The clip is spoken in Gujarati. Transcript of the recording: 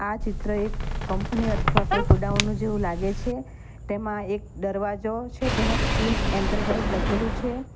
આ ચિત્ર એક કંપની અઠવા કોઈ ગોડાઉન જેવું લાગે છે ટેમાં એક ડરવાજો છે ટેમાં ટીન એન્ટરપ્રાઇઝ લખેલું છે.